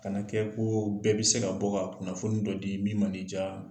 Kana kɛ ko bɛɛ bɛ se ka bɔ ka kunnafoni dɔ di min mana i diya.